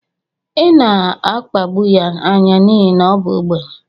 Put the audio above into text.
ị na-akpagbu ya anya n'ihi na ọ bụ ogbenye